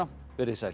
verið þið sæl